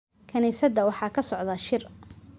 Kaniisadda waxaa ka socda shir